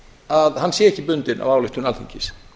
að hann sé ekki bundinn af ályktun alþingis